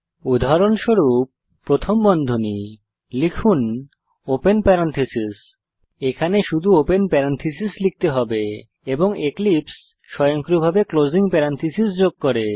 উদাহরণস্বরূপ প্রথম বন্ধনী লিখুন ওপেন প্যারেনথেসিস এখানে শুধু ওপেন প্যারেনথেসিস লিখতে হবে এবং এক্লিপসে স্বয়ংক্রিয়ভাবে ক্লোসিং প্যারেনথেসিস যোগ করে